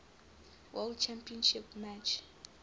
world championship match